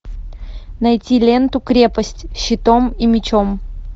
найти ленту крепость щитом и мечом